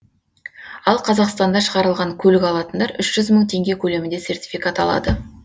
ал қазақстанда шығарылған көлік алатындар үш жүз мың теңге көлемінде сертификат алады